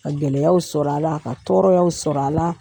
Ka gɛlɛyaw sɔrɔ a la, ka tɔɔrɔyaw sɔrɔ a la.